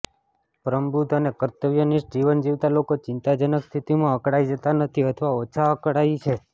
પ્રબુદ્ધ અને કર્તવ્યનિષ્ઠ જીવન જીવતા લોકો ચિંતાજનક સ્થિતિમાં અકળાઇ જતા નથી અથવા ઓછા અકળાય છે